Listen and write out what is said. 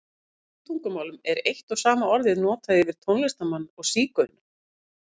Í sumum tungumálum er eitt og sama orðið notað yfir tónlistarmann og sígauna.